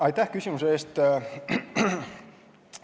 Aitäh küsimuse eest!